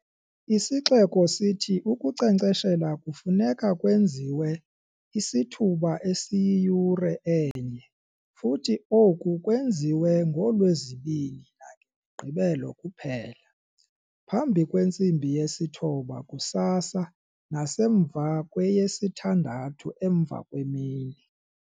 Isixeko sithi ukunkcenkceshela kufuneka kwenziwe isithuba esiyiyure enye futhi oku kwenziwe ngooLwezibini nangeMigqibelo kuphela, phambi kwentsimbi yesithoba kusasa nasemva kweyesithandathu emva kwemini.